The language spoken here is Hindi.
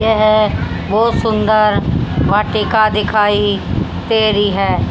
यह बहोत सुंदर वाटिका दिखाई दे रही है।